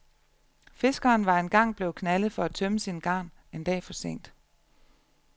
Fiskeren var en gang blevet knaldet for at tømme sine garn en dag for sent.